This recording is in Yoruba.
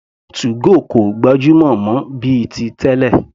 2go kò gbajúmọ̀ mọ́ bíi ti tẹ́lẹ̀.